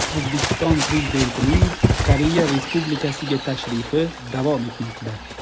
O‘zbekiston Prezidentining Koreya Respulikasiga tashrifi davom etmoqda.